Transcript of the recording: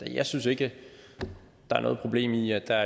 jeg synes ikke der er noget problem i at der